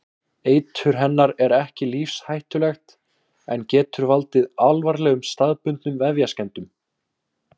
Eitur hennar er ekki lífshættulegt en getur valdið alvarlegum staðbundnum vefjaskemmdum.